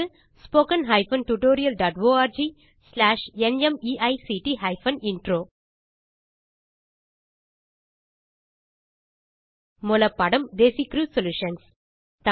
spoken hyphen tutorial dot org slash NMEICT hyphen intro மூல பாடம் Desi crew solutions